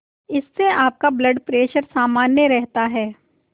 इससे आपका blood pressure सामान्य रहता है